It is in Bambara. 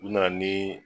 U nana ni